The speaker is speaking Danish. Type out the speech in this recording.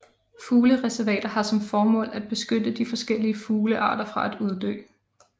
Fuglereservater har som formål at beskytte de forskellige fuglearter fra at uddø